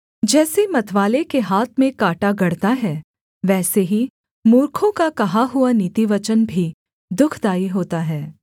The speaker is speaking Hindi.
जैसे मतवाले के हाथ में काँटा गड़ता है वैसे ही मूर्खों का कहा हुआ नीतिवचन भी दुःखदाई होता है